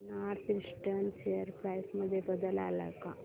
north eastern share price मध्ये बदल आलाय का